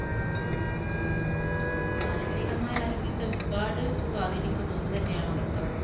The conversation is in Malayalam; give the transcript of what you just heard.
മാനസികമായ ആരോഗ്യത്തെ ഒരുപാട് സ്വാധീനിക്കുന്ന ഒന്നുതന്നെയാണ് ഉറക്കം.